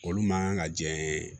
Olu man kan ka diɲɛ